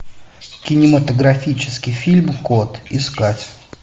кинематографический фильм кот искать